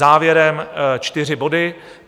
Závěrem čtyři body.